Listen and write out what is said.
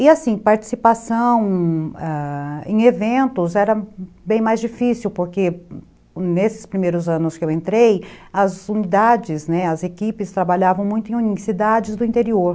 E assim, participação, ãh, em eventos era bem mais difícil, porque nesses primeiros anos que eu entrei, as unidades, né, as equipes trabalhavam muito em unidades do interior.